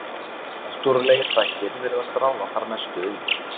Náttúrulegir þættir virðast ráða þar mestu um.